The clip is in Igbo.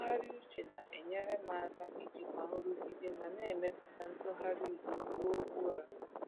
Ntụgharị uche na-enyere m aka ijikwa nrụgide ma na-emepụta ntụgharị udo ruo ụra.